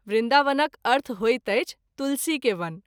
वृन्दावनक अर्थ होइत अछि तुलसी के वन।